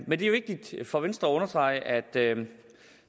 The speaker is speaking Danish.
men det er vigtigt for venstre at understrege at